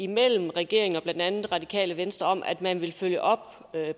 mellem regeringen og blandt andet radikale venstre om at man vil følge op